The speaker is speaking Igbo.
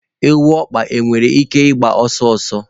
Egwu ọkpa nwere ike ịgba ọsọ ọsọ?